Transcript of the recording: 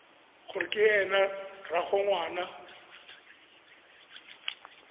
gore ke ena rraagwe ngwana